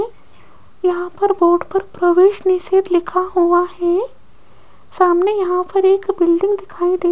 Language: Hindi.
यहां पर बोर्ड पर प्रवेश निषेध लिखा हुआ है सामने यहां पर एक बिल्डिंग दिखाई दे --